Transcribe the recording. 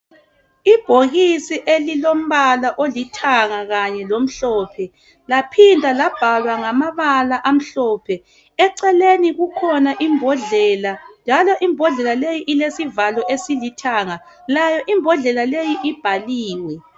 Ibhokisi elilombala olithanga kanye lomhlophe laphinda labhalwa ngamabala amhlophe. Eceleni kukhona imbodlela njalo imbodlela leyi ilesivalo esilithanga. Layo imbodlela leyi ibhaliwe.